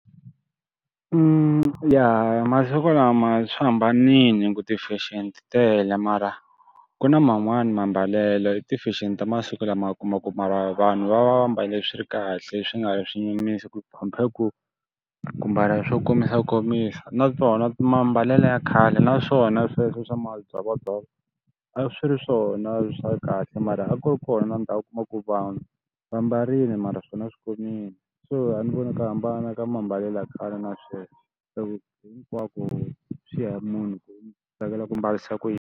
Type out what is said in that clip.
ya masiku lama swi hambanile ku ti fexeni ti tele mara ku na man'wani mambalelo i ti-fashion ta masiku lama u kuma ku mara vanhu va va va mbale swi ri kahle swi nga vi swi nyumisa ku compare ku, ku mbala swo komisakomisa. Naswona mambalelo ya khale na swona sweswo swa madzovodzovo, a swi ri swona swa kahle mara a ku ri kona ndhawu u kuma ku vanhu va mbarile mara swona swi komile. So a ni voni ku hambana ka mambalelo ya khale na sweswi hi ku hinkwako swi ya munhu ku u tsakela ku mbarisa ku yini.